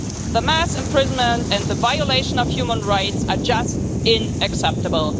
The mass imprisonment and the violation of human rights are just unacceptable.